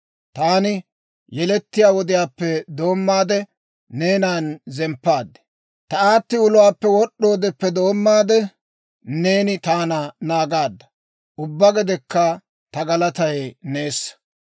Taani yelettiyaa wodiyaappe doommaade neenan zemppaad; ta aatti uluwaappe wod'd'oodeppe doommaade, neeni taana naagaadda. Ubbaa gedekka ta galatay neessa.